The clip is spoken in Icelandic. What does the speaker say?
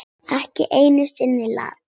Ekki einu sinni Lat.